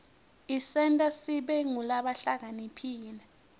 isenta sibe ngulabahlakaniphile